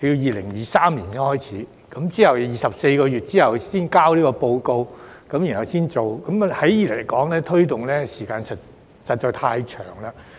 於2023年才展開，並在24個月試驗期後才提交報告，然後才可推行，時間實在太長。